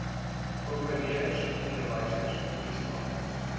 prokureurs onderwysers polisiebeamptes